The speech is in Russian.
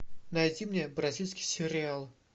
найди мне бразильский сериал